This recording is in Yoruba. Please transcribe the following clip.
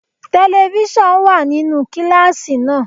Telifíṣàn wà nínú kíláàsì náà.